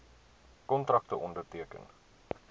kontrakte onderteken